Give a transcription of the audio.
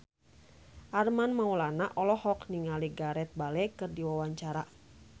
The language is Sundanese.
Armand Maulana olohok ningali Gareth Bale keur diwawancara